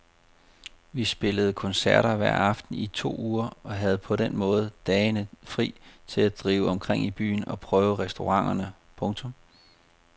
Vi spillede koncerter hver aften i to uger og havde på den måde dagene fri til at drive omkring i byen og prøve restauranterne. punktum